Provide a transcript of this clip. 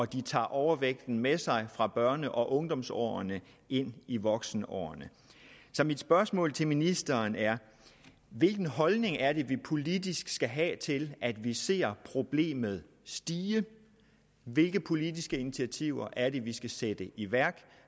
de tager overvægten med sig fra børne og ungdomsårene ind i voksenårene så mit spørgsmål til ministeren er hvilken holdning er det vi politisk skal have til at vi ser problemet stige og hvilke politiske initiativer er det vi skal sætte i værk